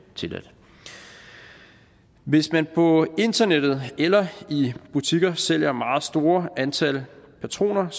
tilladt hvis man på internettet eller i butikker sælger et meget stort antal patroner